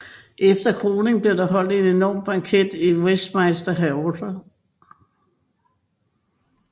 Efter kroningen blev der holdt en enorm banket i Westminster Hall